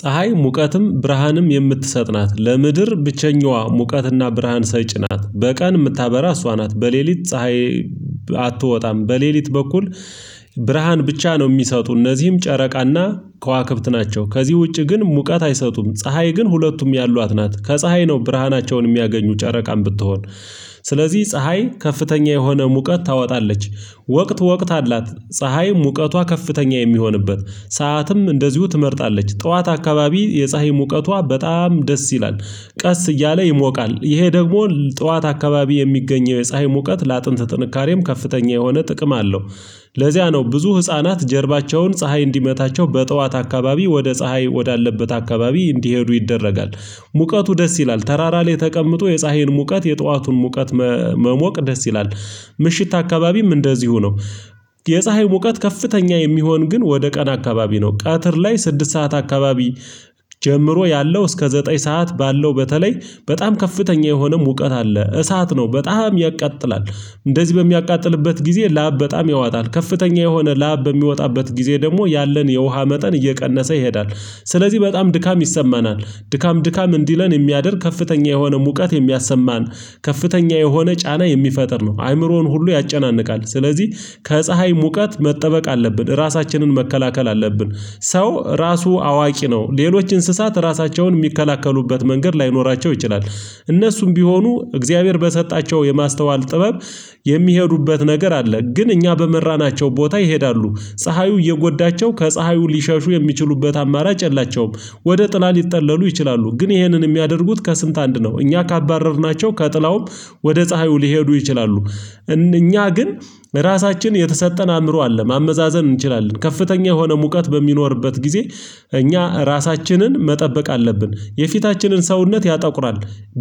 ፀሀይ ሙቀትም ብርሃንም የምትሰጥ ናት ለምድር ብቸኛዋ ሙቀትና ብርሃን ሰጪ ናት በቀን እምታበራ እሷ ናት በሌሊት ፀሀይ አትወጣም በሌሊት በኩል ብርሃን ብቻ ነው ሚሰጡ እነዚህም ጨረቃና ከዋክብት ናቸው። ከዚህ ውጪ ግን ሙቀት አይሰጡም። ፀሀይ ግን ሁለቱም ያሏት ናት ከፀሀይ ነው ብርሃናቸውን የሚያገኙ ጨረቃም ብትሆን። ስለዚህ ፀሀይ ከፍተኛ የሆነ ሙቀት ታወጣለች። ወቅት ወቅት አላት ፀሀይ ሙቀቷ ከፍተኛ የሚሆንበት ሰዓትም እንደዚሁ ትመርጣለች። ጠዋት አካባቢ የፀሀይ ሙቀቷ በጣም ደስ ይላል ቀስ እያለ ይሞቃል። ይሄ ደግሞ ጠዋት አካባቢ የሚገኘው የፀሀይ ሙቀት ለአጥንት ጥንካሬም ከፍተኛ የሆነ ጥቅም አለው። ለዚያ ነው ብዙ ህፃናት ጀርባቸውን ፀሀይ እንዲመታቸው በጥዋት አካባቢ ወደ ፀሀይ ወዳለበት አካባቢ እንዲሄዱ ይደረጋል። ሙቀቱ ደስ ይላል ተራራ ላይ ተቀምጦ የፀሀይን ሙቀት የጧቱን ሙቀት መሞቅ ደስ ይላል። ምሽት አካባቢም እንደዚሁ ነው። የፀሀይ ሙቀት ከፍተኛ የሚሆን ግን ወደ ቀን አካባቢ ነው ቀትር ላይ ስድስት ሰዓት አካባቢ ጀምሮ ያለው እስከ ዘጠኝ ሰዓት ባለው በተለይ በጣም ከፍተኛ የሆነም እውቀት አለ እሳት ነው በጣም ያቃጥላል። እንደዚህ በሚያቃጥልበት ጊዜ ላብ በጣም ያዋጣል ከፍተኛ የሆነ ላብ በሚወጣበት ጊዜ ደግሞ ያለን የውሃ መጠን እየቀነሰ ይሄዳል። ስለዚህ በጣም ድካም ይሰማናል። ድካም ድካም እንዲለን እሚያደርግ ከፍተኛ የሆነ ሙቀት እሚያሰማን ከፍተኛ የሆነ ጫና የሚፈጥር ነው አእምሮን ሁሉ ያጨናንቃል። ስለዚህ ከፀሀይ ሙቀት መጠበቅ አለብን ራሳችንን መከላከል አለብን። ሰው ራሱ አዋቂ ነው ሌሎች እንስሳት ራሳቸውን እሚከላከሉበት መንገድ ላይኖራቸው ይችላል። እነሱም ቢሆኑ እግዚአብሔር በሰጣቸው የማስተዋል ጥበብ የሚሄዱበት ነገር አለ ግን እኛ በመራናቸው ቦታ ይሄዳሉ። ፀሀዩ እየጎዳቸው ከፀሐዩ ሊሸሹ የሚችሉበት አማራጭ የላቸውም። ወደ ጥላ ሊጠለሉ ይችላሉ ግን ይህንን የሚያደርጉት ከስንት አንድ ነው እኛ ካባረርናቸው ከጥላውም ወደ ፀሀዩ ሊሄዱ ይችላሉ። እኛ ግን ራሳችን የተሰጠን አእምሮ አለ ማመዛዘን እንችላለን ከፍተኛ የሆነ ሙቀት በሚኖርበት ጊዜ እኛ ራሳችንን መጠበቅ አለብን የፊታችንን ሰውነት ያጠቁራል።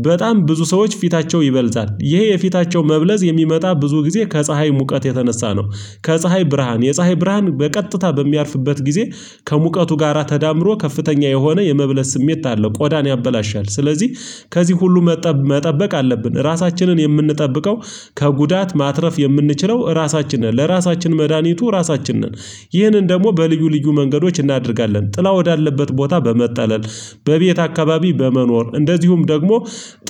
በጣም ብዙ ሰዎች ፊታቸው ይበልዛል ይሄ የፊታቸው መብለዝ የሚመጣ ብዙ ጊዜ ከፀሀይ ሙቀት የተነሳ ነው። ከፀሀይ ብርሃን የፀሀይ ብርሃን በቀጥታ በሚያርፍበት ጊዜ ከሙቀቱ ጋራ ተዳምሮ ከፍተኛ የሆነ የመብለስ ስሜት አለው ቆዳን ያበላሻል። ስለዚህ ከዚህ ሁሉ መጠበቅ አለብን ራሳችንን የምንጠብቀው ከጉዳት ማትረፍ የምንችለው ራሳችንን ለራሳችን መድሃኒቱ ራሳችን ነን። ይህንን ደሞ በልዩ ልዩ መንገዶች እናደርጋለን ጥላ ወዳለበት ቦታ በመጠለል በቤት አካባቢ በመኖር እንደዚሁም ደግሞ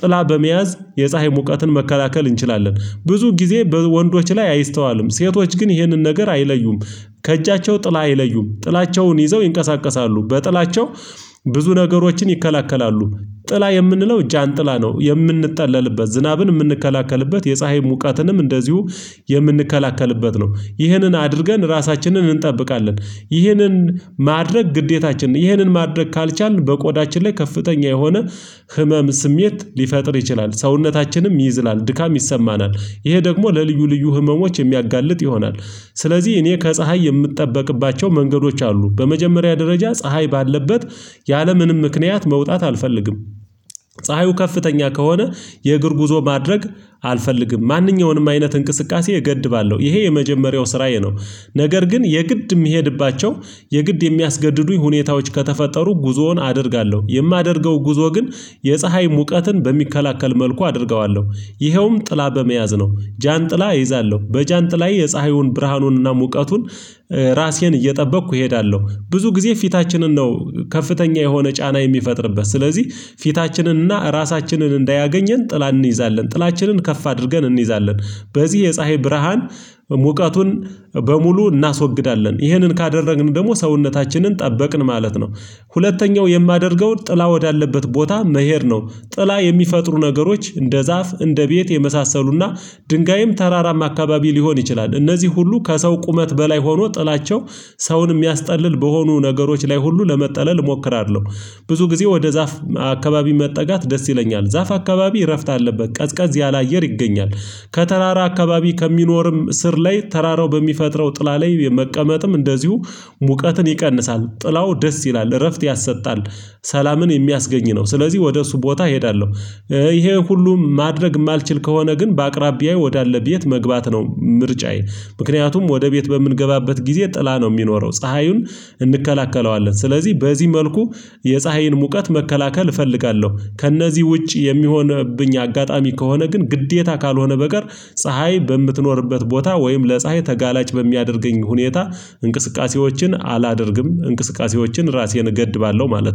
ጥላ በመያዝ የፀሀይ ሙቀትን መከላከል እንችላለን። ብዙ ጊዜ በወንዶች ላይ አይስተዋልም ሴቶች ግን ይህንን ነገር አይለዩም። ከእጃቸው ጥላ አይለዩም ጥላቸውን ይዘው ይንቀሳቀሳሉ በጥላቸው። ብዙ ነገሮችን ይከለክላሉ። ጥላ የምንለው ጃንጥላ ነው የምንጠለልበት ዝናብን የምንከላከልበት የፀሀይ ሙቀትንም እንደዚሁ የምንከላከልበት ነው። ይህንን አድርገን ራሳችንን እንጠብቃለን። ይህንን ማድረግ ግዴታችንን ይህንን ማድረግ ካልቻልን በቆዳችን ላይ ከፍተኛ የሆነ ህመም ስሜት ሊፈጥር ይችላል ሰውነታችንም ይዝላል ድካም ይሰማናል። ይሄ ደግሞ ለልዩ ልዩ ህመሞች የሚያጋልጥ ይሆናል። ስለዚህ እኔ ከፀሀይ የምጠበቅባቸው መንገዶች አሉ በመጀመሪያ ደረጃ ፀሀይ ባለበት ያለምንም ምክንያት መውጣት አልፈልግም። ፀሀዩ ከፍተኛ ከሆነ የእግር ጉዞ ማድረግ አልፈልግም ማንኛውንም አይነት እንቅስቃሴ እገድባለሁ ይሄ የመጀመሪያው ስራዬ ነው። ነገር ግን የግድ እሚሄድባቸው የግድ የሚያስገድዱኝ ሁኔታዎች ከተፈጠሩ ጉዞውን አደርጋለሁ። የማደርገው ጉዞ ግን የፀሀይ ሙቀትን በሚከላከል መልኩ አደርገዋለሁ። ይኸውም ጥላ በመያዝ ነው። ጃንጥላ እይዛለሁ በጃንጥ ላይ የፀሐዩን ብርሃኑንና ሙቀቱን ራሴን እየጠበቅኩ እሄዳለሁ። ብዙ ጊዜ ፊታችንን ነው ከፍተኛ የሆነ ጫና የሚፈጥርበት ስለዚህ ፊታችንን እና ራሳችንን እንዳያገኘን ጥላ እንይዛለን ጥላችንን ከፍ አድርገን እንይዛለን። በዚህ የፀሀይ ብርሃን ሙቀቱን በሙሉ እናስወግዳለን ይህንን ካደረግን ደግሞ ሰውነታችንን ጠበቅን ማለት ነው። ሁለተኛው የማደርገው ጥላ ወዳለበት ቦታ መሄድ ነው። ጥላ የሚፈጥሩ ነገሮች እንደ ዛፍ እንደ ቤት የመሳሰሉና ድንጋይም ተራራም አካባቢ ሊሆን ይችላል። እነዚህ ሁሉ ከሰው ቁመት በላይ ሆኖ ጥላቸው ሰውን እሚያስጠልል በሆኑ ነገሮች ላይ ሁሉ ለመጠለል እሞክራለሁ። ብዙ ጊዜ ወደ ዛፍ አካባቢ መጠጋት ደስ ይለኛል ዛፍ አካባቢ እረፍት አለበት ቀዝቀዝ ያላየር ይገኛል። ከተራራ አካባቢ ከሚኖርም ስር ላይ ተራራው በሚፈጥረው ጥላ ላይ የመቀመጥም እንደዚሁ ሙቀትን ይቀንሳል ጥላው ደስ ይላል እረፍት ያሰጣል። ሰላምን የሚያስገኝ ነው። ስለዚህ ወደ እሱ ቦታ እሄዳለሁ። ይሄ ሁሉን ማድረግ እማልችል ከሆነ ግን በአቅራቢያዬ ወዳለ ቤት መግባት ነው። ምርጫዬ ምክንያቱም ወደ ቤት በምንገባበት ጊዜ ጥላ ነው እሚኖረው ፀሐዩን እንከላከለዋለን ስለዚህ በዚህ መልኩ የፀሀይን ሙቀት መከላከል እፈልጋለሁ። ከእነዚህ ውጪ የሚሆንብኝ አጋጣሚ ከሆነ ግን ግዴታ ካልሆነ በቀር ፀሀይ በምትኖርበት ቦታ ወይም ለፀሀይ ተጋላጭ በሚያደርገኝ ሁኔታ እንቅስቃሴዎችን አላደርግም። እንቅስቃሴዎችን ራሴን እገድባለሁ ማለት ነው